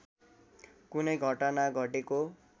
कुनै घटना घटेको